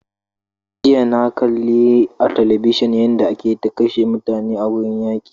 Jiya na kalli a television yanda ake ta kashe mutane a gurin yaƙi